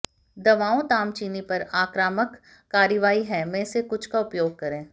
दवाओं तामचीनी पर आक्रामक कार्रवाई है में से कुछ का उपयोग करें